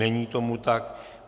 Není tomu tak.